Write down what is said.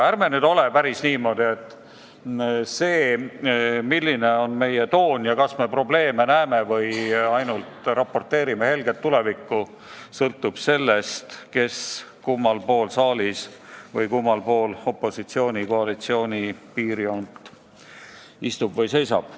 Ärme siiski käitu päris niimoodi, et see, milline on meie toon ja kas me probleeme näeme või ainult raporteerime helget tulevikku, sõltub sellest, kes kummal pool saalis või kummal pool opositsiooni-koalitsiooni piirjoont istub või seisab.